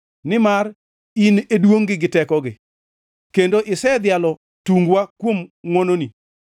Nimar in e duongʼgi gi tekogi, kendo isedhialo tungwa kuom ngʼwononi.